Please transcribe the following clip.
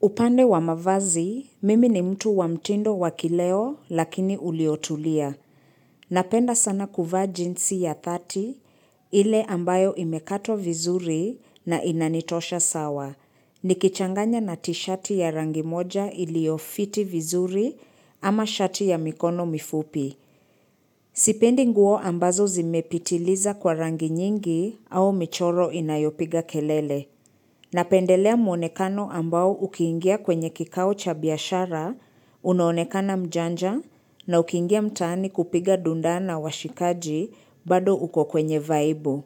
Upande wa mavazi, mimi ni mtu wa mtindo wa kileo lakini uliotulia. Napenda sana kuvaa jeansi ya 30 ile ambayo imekatwa vizuri na inanitosha sawa. Nikichanganya na tishati ya rangi moja iliyo fiti vizuri ama shati ya mikono mifupi. Sipendi nguo ambazo zimepitiliza kwa rangi nyingi au michoro inayopiga kelele. Napendelea mwonekano ambao ukiingia kwenye kikao cha biashara, unaonekana mjanja na ukiingia mtaani kupiga dundaa na washikaji bado uko kwenye vaibu.